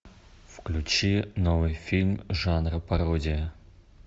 включи новый фильм жанра пародия